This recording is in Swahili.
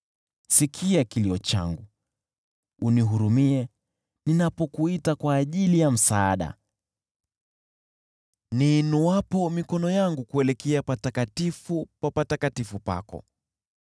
Sikia kilio changu unihurumie ninapokuita kwa ajili ya msaada, niinuapo mikono yangu kuelekea Patakatifu pa Patakatifu pako.